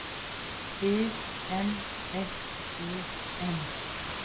E N S O M